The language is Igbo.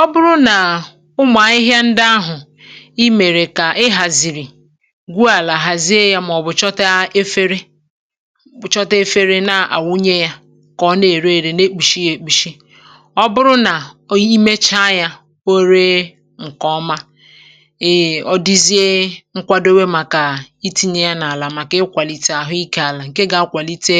Ọ̀ bụrụ nà ụmụ̀ ahịhịa ndị ahụ̀ ì mèrè kà ị hàzìrì, gwùàlà, àhàzìe yà, màọ̀bụ̀ chọta efere—bụ̀ chọta efere—na-àwụnye yà kà ọ na-èru èrè, na-ekpùshi yà, èkpùshi. Ọ̀ bụrụ nà i mèchá yà, o ree ǹkè ọma, ee, ọ dìzie nkwàdòwé màkà itìnyè yà n’àlà, màkà ikwàlite àhụ ike àlà, ǹkè gà-akwàlite